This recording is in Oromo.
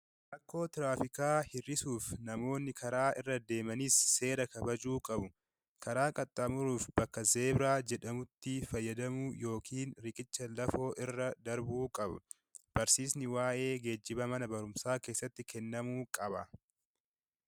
Rakkoo tiraafikaa hir'isuuf namoonni karaa irra deemanis seera kabajuu qabu. Karaa qaxxaamuruuf bakka Zeebiraa jedhamutti fayyadamuu yookiin riqicha lafoo irra darbuu qabu. Barsiisni waa'ee geejjibaa mana barumsaa keessatti kennamuu qaba.